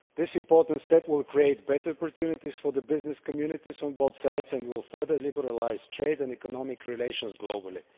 This important step will create better opportunities for the business communities on both sides and will further liberalise trade and economic relations globally.